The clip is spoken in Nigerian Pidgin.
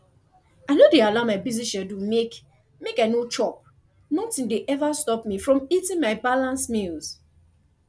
i no dey allow my busy schedule make make i no chop nothing dey every stop me from eating my balanced meals